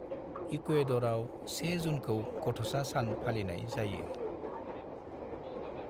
इकुएड'रआव 1 जुनखौ गथ'सा सान फालिनाय जायो।